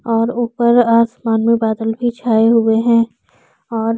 और ऊपर आसमान में बादल भी छाए हुए है और--